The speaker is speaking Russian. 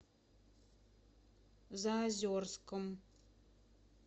заозерском